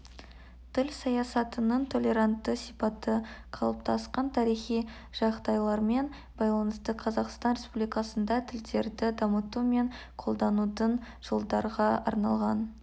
тіл саясатының толерантты сипаты қалыптасқан тарихи жағдайлармен байланысты қазақстан республикасында тілдерді дамыту мен қолданудың жылдарға арналған